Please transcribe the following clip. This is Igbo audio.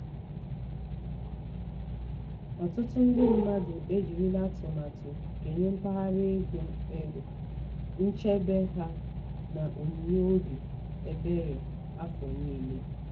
um ọtụtụ ndị mmadụ e jirila atụmatụ kenye mpaghara ego um nchebe ha n'onyinye obi ebere afọ niile. um